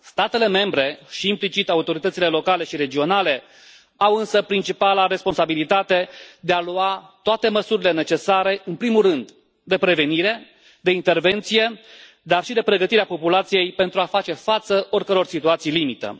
Statele membre și, implicit, autoritățile locale și regionale au însă principala responsabilitate de a lua toate măsurile necesare, în primul rând de prevenire, de intervenție, dar și de pregătire a populației pentru a face față oricăror situații limită.